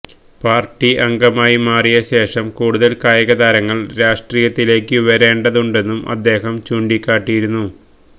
party അംഗമായി മാറിയ ശേഷം കൂടുതല് കായികതാരങ്ങള് രാഷ്്ട്രീയത്തിലേക്കു വരേണ്ടതുണ്ടെന്നും അദ്ദേഹം ചൂണ്ടിക്കാട്ടിയിരുന്നു